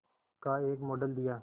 का एक मॉडल दिया